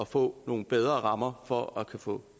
få nogle bedre rammer for at kunne få